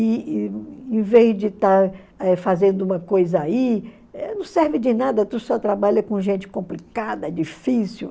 E e em vez de estar fazendo uma coisa aí, não serve de nada, tu só trabalha com gente complicada, difícil.